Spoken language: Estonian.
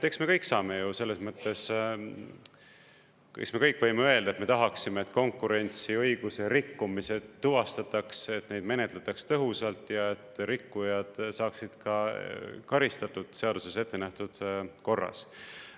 Eks me kõik saame ju selles mõttes, eks me kõik võime öelda, et me tahaksime, et konkurentsiõiguse rikkumised tuvastatakse, et neid menetletakse tõhusalt ja et rikkujad saaksid ka karistatud seaduses ettenähtud korras.